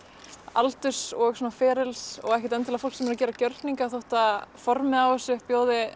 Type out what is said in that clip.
aldurs og ferils og ekkert endilega fólk sem er að gera gjörninga þótt að formið á þessu bjóði